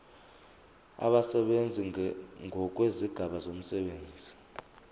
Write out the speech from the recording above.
abasebenzi ngokwezigaba zomsebenzi